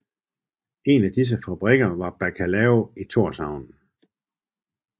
En af disse fabrikker var Bacalao i Tórshavn